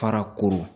Fara koro